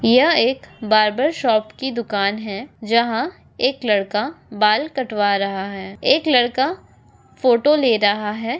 यह एक barber shop की दुकान हैं जहाँ एक लड़का बाल कटवा रहा हैं एक लड़का फोटो ले रहा हैं।